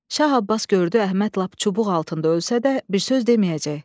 Şah Abbas gördü Əhməd lap çubuq altında ölsə də bir söz deməyəcək.